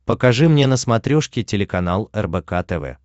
покажи мне на смотрешке телеканал рбк тв